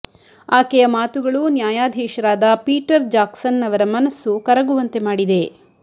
ಆಕೆಯ ಮಾತುಗಳು ನ್ಯಾಯಾಧೀಶರಾದ ಪೀಟರ್ ಜಾಕ್ಸನ್ ಅವರ ಮನಸ್ಸು ಕರಗುವಂತೆ ಮಾಡಿದೆ